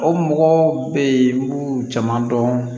O mɔgɔ bɛ yen n b'u jama dɔn